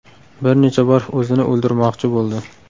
Bir necha bor o‘zini o‘ldirmoqchi bo‘ldi.